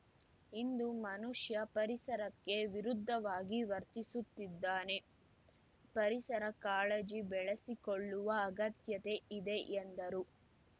ಇಂದು ಮನುಷ್ಯ ಪರಿಸರಕ್ಕೆ ವಿರುದ್ಧವಾಗಿ ವರ್ತಿಸುತ್ತಿದ್ದಾನೆ ಪರಿಸರ ಕಾಳಜಿ ಬೆಳೆಸಿಕೊಳ್ಳುವ ಅಗತ್ಯತೆ ಇದೆ ಎಂದರು